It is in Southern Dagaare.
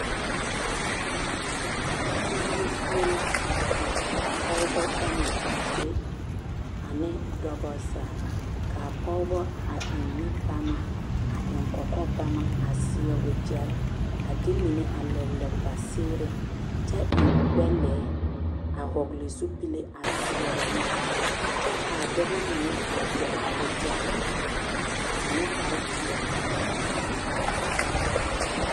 Tigiri zie la ka a pɔgebɔ ba mɛ a be ane dɔbɔ zaa k'a pɔgebɔ a eŋ nubama a eŋ kɔkɔbama a seɛ wegyɛre a de mine a lere lere ba seereŋ kyɛ eŋ gbɛ-lɛɛ a hɔgele zupile a seɛrɛ ne kyɛ k'a dɔbɔ mine a gyere wegyɛre ane kpare peɛle a ba kɔkɔreŋ.